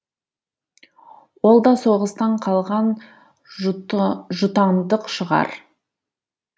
ол да соғыстан қалған жұтаңдық шығар